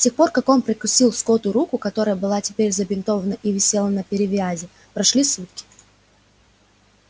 с тех пор как он прокусил скотту руку которая была теперь забинтована и висела на перевязи прошли сутки